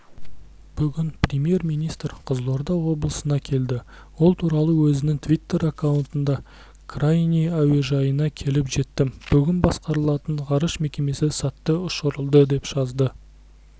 бүгін премьер-министр қызылорда облысына келді ол туралы өзінің твиттер-аккаунтында крайний әуежайына келіп жеттім бүгін басқарылатын ғарыш кемесі сәтті ұшырылды деп жазды